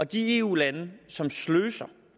de eu lande som sløser